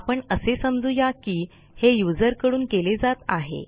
आपण असे समजू या की हे युजरकडून केले जात आहे